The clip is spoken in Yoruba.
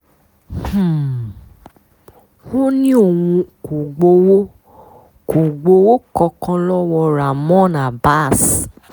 um ó ní òun kò gbowó kò gbowó kankan lọ́wọ́ ramon abas